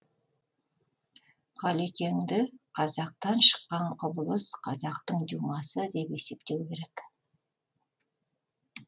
ғалекеңді қазақтан шыққан құбылыс қазақтың дюмасы деп есептеу керек